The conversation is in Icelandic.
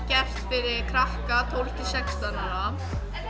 gert fyrir krakka tólf til sextán ára